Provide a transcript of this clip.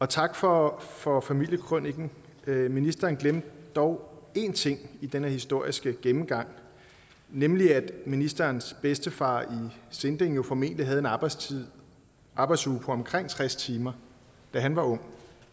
tak for for familiekrøniken ministeren glemte dog én ting i denne historiske gennemgang nemlig at ministerens bedstefar i sinding jo formentlig havde en arbejdsuge arbejdsuge på omkring tres timer da han var ung